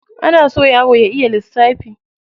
Ana so yaro ya iya lissafi.